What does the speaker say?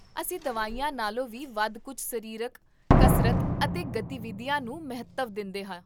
ਅਸੀਂ ਦਵਾਈਆਂ ਨਾਲੋਂ ਵੀ ਵਧ ਕੁੱਝ ਸਰੀਰਕ ਕਸਰਤ ਅਤੇ ਗਤੀਵਿਧੀਆਂ ਨੂੰ ਮਹੱਤਵ ਦਿੰਦੇਹਾਂ